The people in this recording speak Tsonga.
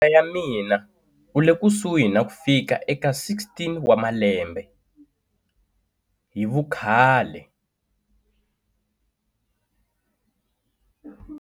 Mativula ya mina u le kusuhi na ku fika eka 16 wa malembe hi vukhale.